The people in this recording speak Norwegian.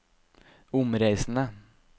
omreisende